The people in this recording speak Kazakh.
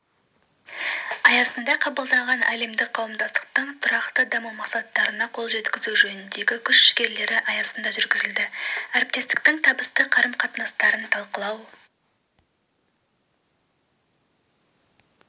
аясында қабылданған әлемдік қауымдастықтың тұрақты даму мақсаттарына қол жеткізу жөніндегі күш жігерлері аясында жүргізілді әріптестіктіңтабыстықарым-қатынастарынталқылау